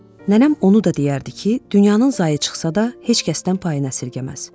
Nənəm onu da deyərdi ki, dünyanın zai çıxsa da heç kəsdən payını əsirgəməz.